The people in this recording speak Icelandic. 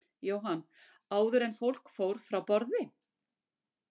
Jóhann: Áður en fólk fór frá borði?